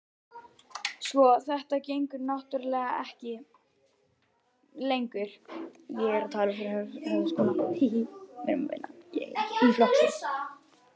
Sko. þetta gengur náttúrlega ekki lengur.